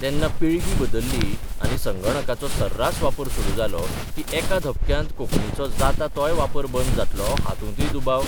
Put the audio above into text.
तेन्ना पिळगी बदल्ली आनी संगणकांचो सर्रास वापर सुरू जालो की एका धपक्यांत कोंकणीचो जाता तोय वापर बंद जातलो हातूंतय दुबाव